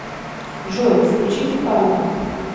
джой включи тюханова